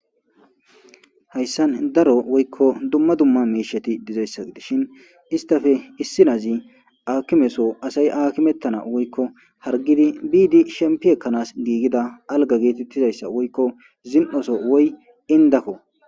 Haysan daro woyko duma duma miishati dizaysa gidishin istape issinazi aakimeso asay aakimetanawu woyko hargidi biidi shempi ekanas giigida alga geetetizaysa woyko zin'oso woyko indako.